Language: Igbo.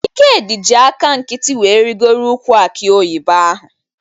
Ikedi ji aka nkịtị wee rigoro ukwụ akị oyibo ahụ